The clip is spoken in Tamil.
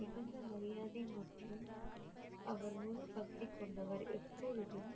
மிகுந்த மரியாதை மற்றும் அவர் முழு பக்தி கொண்டவர் எப்பொழுதும்